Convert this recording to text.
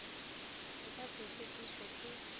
e ka se šitišwe ke